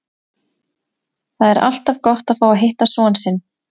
Það er alltaf gott að fá að hitta son sinn.